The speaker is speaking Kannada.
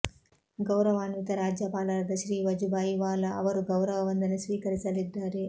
ಗೌರವಾನ್ವಿತ ರಾಜ್ಯಪಾಲರಾದ ಶ್ರೀ ವಜುಭಾಯಿ ವಾಲಾ ಅವರು ಗೌರವ ವಂದನೆ ಸ್ವೀಕರಿಸಲಿದ್ದಾರೆ